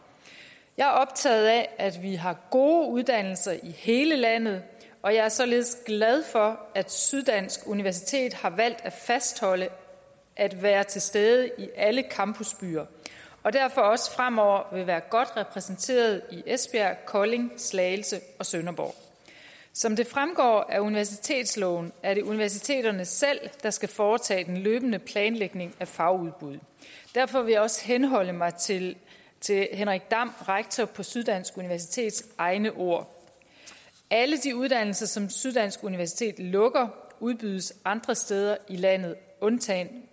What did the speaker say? jeg er optaget af at vi har gode uddannelser i hele landet og jeg er således glad for at syddansk universitet har valgt at fastholde at være til stede i alle campusbyer og derfor også fremover vil være godt repræsenteret i esbjerg kolding slagelse og sønderborg som det fremgår af universitetsloven er det universiteterne selv der skal foretage den løbende planlægning af fagudbud derfor vil jeg også henholde mig til rektor på syddansk universitet henrik egne ord alle de uddannelser som syddansk universitet lukker udbydes andre steder i landet undtagen